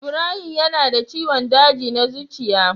Ibrahim yana da ciwon daji na zuciya.